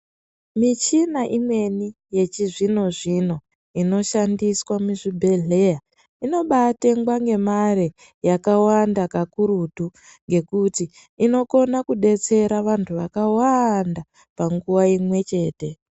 Michina imweni yechizvino zvino inoshandiswa muzvibhedhleya inobatengwa ngari yakawanda kakurutu ngekuti inokona kudetsera vantu vakawanda panguwa imwechete.